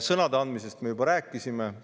Sõnade andmisest me juba rääkisime.